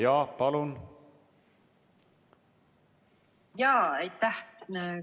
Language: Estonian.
Jaa, palun!